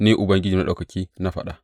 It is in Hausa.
Ni Ubangiji Maɗaukaki na faɗa.